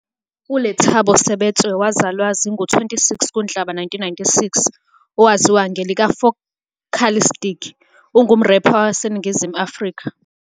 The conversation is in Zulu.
ULethabo Sebetso, owazalwa zinga-26 kuNhlaba 1996, owaziwa ngelika-Focalistic, ungumrepha waseNingizimu Afrika.